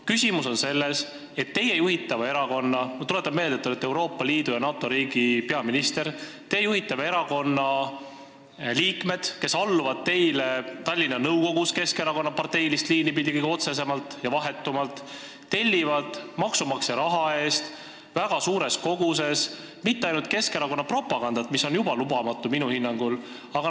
Küsimus on selles – ma tuletan meelde, et te olete Euroopa Liitu ja NATO-sse kuuluva riigi peaminister –, et teie juhitava erakonna liikmed, kes alluvad teile Tallinna nõukogus Keskerakonna parteilist liini pidi kõige otsesemalt ja vahetumalt, ei telli sealt maksumaksja raha eest väga suures koguses mitte ainult Keskerakonna propagandat, mis on minu hinnangul juba lubamatu.